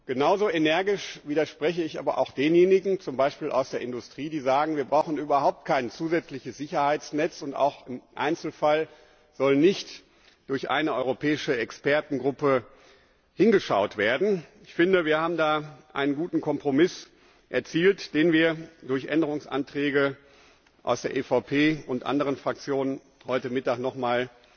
Genauso energisch widerspreche ich aber auch denjenigen, zum Beispiel aus der Industrie, die sagen, wir brauchen überhaupt kein zusätzliches Sicherheitsnetz, und auch im Einzelfall soll nicht durch eine europäische Expertengruppe hingeschaut werden. Ich finde, wir haben da einen guten Kompromiss erzielt, den wir durch Änderungsanträge aus der EVP und anderen Fraktionen heute Mittag nochmals